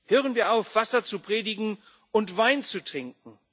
Hören wir auf, Wasser zu predigen und Wein zu trinken.